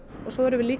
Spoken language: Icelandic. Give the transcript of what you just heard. og svo erum við